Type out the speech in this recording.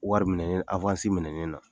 Wari minɛ ne na .